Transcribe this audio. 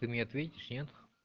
ты мне ответишь нет